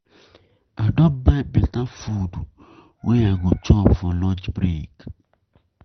I I don buy beta food wey I go chop for lunch break.